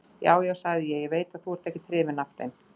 Já, já, sagði ég, ég veit að þú ert ekkert hrifinn af þeim.